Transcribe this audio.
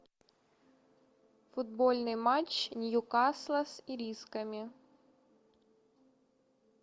футбольный матч ньюкасл с ирисками